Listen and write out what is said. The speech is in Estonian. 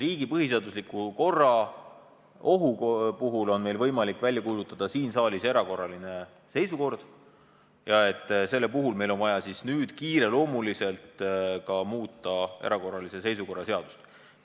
Riigi põhiseadusliku korra ohustatuse puhul on meil võimalik siin saalis välja kuulutada erakorraline seisukord ja selle puhul on meil vaja nüüd kiireloomuliselt muuta erakorralise seisukorra seadust.